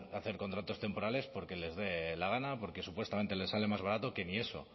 hacer contratos temporales porque les dé la gana o porque supuestamente le sale más barato que ni eso